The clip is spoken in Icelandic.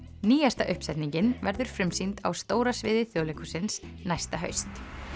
nýjasta uppsetningin verður frumsýnd á stóra sviði Þjóðleikhússins næsta haust